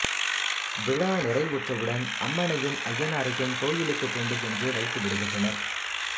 விழா நிறைவுற்றவுடன் அம்மனையும் அய்யனாரையும் கோயிலுக்கு கொண்டு சென்று வைத்து விடுகின்றனர்